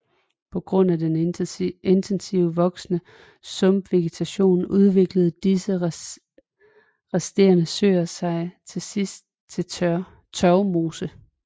På grund af intensivt voksende sumpvegetation udviklede disse resterende søer sig til sidst til tørvmose